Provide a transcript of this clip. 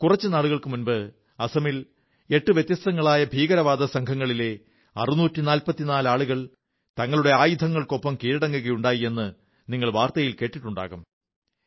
കുറച്ചു നാളുകൾക്കു മുമ്പ് അസമിൽ എട്ട് വ്യത്യസ്തങ്ങളായ ഭീകരവാദസംഘങ്ങളിലെ 644 ആളുകൾ തങ്ങളുടെ ആയുധങ്ങൾക്കൊപ്പം കീഴടങ്ങുകയുണ്ടായെന്ന് നിങ്ങൾ വാർത്തയിൽ കേട്ടിട്ടുണ്ടാകും